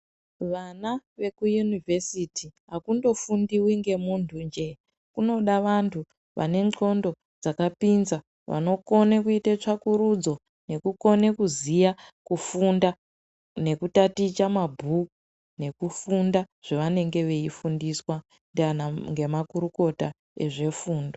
Vana vechikora chepaderadera akundofundiwi ngemunhu njee kunoda vanhu vanednhlondo dzakapinza vanokone kuite tsvakurudzo nekukone kuziya kufunda nekutaticha mabhuku nekufunda zvevanenge veifundiswa ngemakurukota ezvefundo.